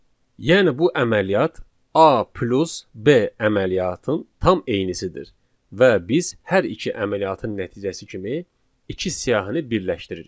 Yəni bu əməliyyat A plus B əməliyyatın tam eynisidir və biz hər iki əməliyyatın nəticəsi kimi iki siyahını birləşdiririk.